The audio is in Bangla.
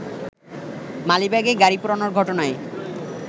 মালিবাগে গাড়ি পোড়ানোর ঘটনায়